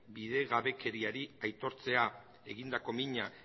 bidegabekeriari aitortzea egindako mina